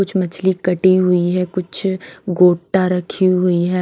कुछ मछली कटी हुई है कुछ गोटा रखी हुई है।